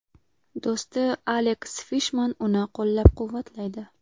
Do‘sti Aleks Fishman uni qo‘llab-quvvatlaydi.